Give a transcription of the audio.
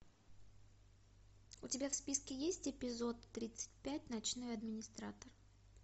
у тебя в списке есть эпизод тридцать пять ночной администратор